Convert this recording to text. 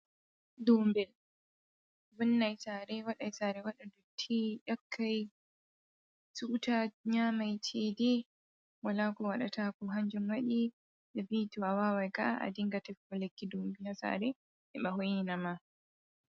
Dobel vonnan sare, waɗai sare waɗa dutti yakkai tuta, nyamai cege, wala ko waɗataku hanjun waɗi ɓivi to'awa wai ka a dinga tifugo lakki ndobi ha sare hiba hoi ni nama.